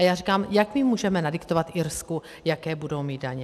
A já říkám: Jak my můžeme nadiktovat Irsku, jaké budou mít daně?